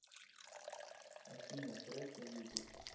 афина фреско ютуб